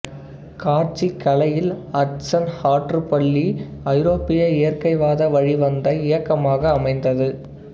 காட்சிக் கலையில் ஹட்சன் ஆற்றுப் பள்ளி ஐரோப்பிய இயற்கைவாத வழி வந்த இயக்கமாக அமைந்தது